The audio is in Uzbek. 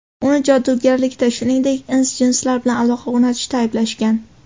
Uni jodugarlikda, shuningdek, ins-jinslar bilan aloqa o‘rnatishda ayblashgan.